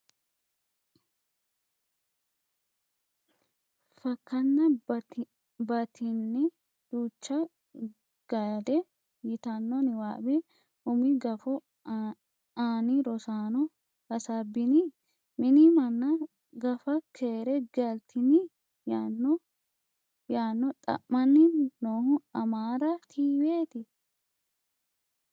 fakkana batine, duucha Gade,” yitanno niwaawe umi gufo ani Rosaano hasaabbini? Mini manna, Gafa keere galtini?” yaanno xa'mani nohu amaara tiweti?